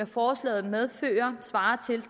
forslaget medfører svarer til